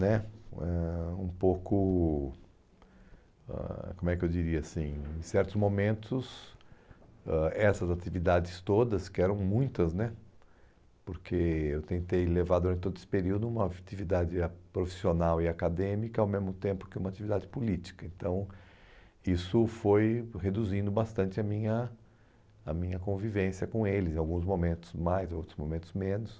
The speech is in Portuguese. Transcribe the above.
né ãh um pouco ãh como é que eu diria assim em certos momentos ãh essas atividades todas que eram muitas né porque eu tentei levar durante todo esse período uma atividade ah profissional e acadêmica ao mesmo tempo que uma atividade política então isso foi reduzindo bastante a minha a minha convivência com eles em alguns momentos mais outros momentos menos